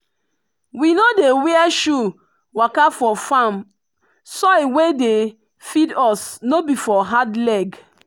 we no dey wear shoe waka for farm soil wey dey feed us no be for hard leg.